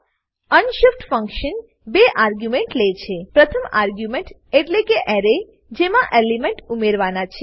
the unshift functionબે argument લે છે પ્રથમ આર્ગ્યુમેન્ટ એટલેકે એરે જેમાં એલિમેન્ટ ઉમેરવાના છે